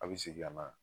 A bɛ segin ka na